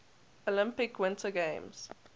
olympic winter games